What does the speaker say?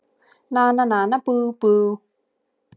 Nana nana bú bú!